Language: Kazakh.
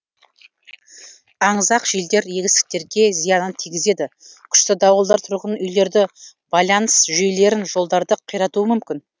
аңызақ желдер егістіктерге зиянын тигізеді күшті дауылдар тұрғын үйлерді байланыс жүйелерін жолдарды қиратуы мүмкін